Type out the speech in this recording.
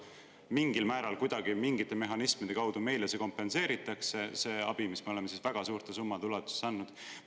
Mingil määral, kuidagi ju mingite mehhanismide kaudu meile see kompenseeritakse – see abi, mida me oleme väga suurte summade ulatuses andnud?